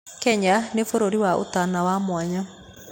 Kenya nĩ bũrũri wa ũtana wa mwanya.